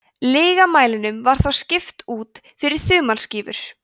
lygamælinum var þá skipt út fyrir þumalskrúfur